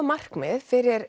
markmið fyrir